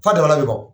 F'a damana be bɔ